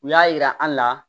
U y'a yira an la